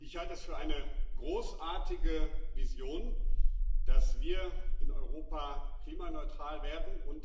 Ich halte es für eine großartige Vision, dass wir in Europa klimaneutral werden.